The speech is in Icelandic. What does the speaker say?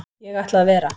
Ég ætla að vera.